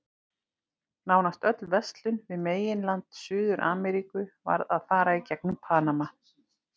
Nánast öll verslun við meginland Suður-Ameríku varð að fara í gegnum Panama.